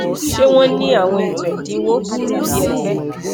ṣe wọn ni awọn eto ẹdinwo tàbí ẹgbẹ